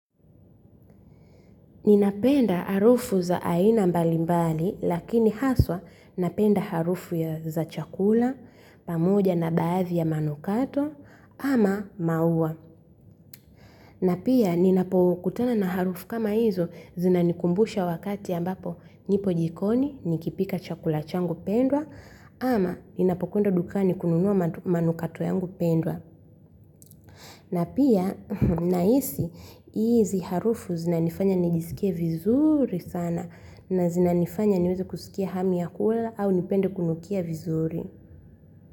Ninapenda harufu za aina mbali mbali lakini haswa napenda harufu ya za chakula pamoja na baadhi ya manukato ama maua. Na pia ninapokutana na harufu kama hizo zinanikumbusha wakati ambapo nipo jikoni nikipika chakula changu pendwa ama ninapokwenda dukani kununua manukato yangu pendwa. Na pia, naisi, hizi harufu zinanifanya nijiskie vizuri sana na zinanifanya niweze kusikia hami ya kula au nipende kunukia vizuri.